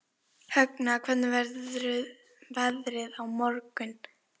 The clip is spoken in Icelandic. Högna, hvernig verður veðrið á morgun?